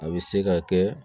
A bɛ se ka kɛ